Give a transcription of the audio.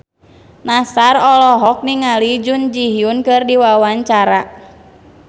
Nassar olohok ningali Jun Ji Hyun keur diwawancara